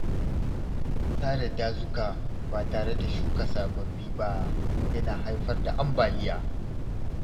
Sare dazuka ba tare da shuka sababbi ba yana haifar da ambaliya.